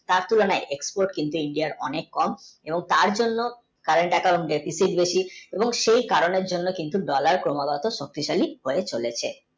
তাঁর তুলনাই export কিন্তু india আর অনেক কম এবং তাঁর জন্য Current account বেশি এবং সেই কারণে জন্য কিন্তু dollar কমা গোও শক্তিশালী হয়ে চলেছে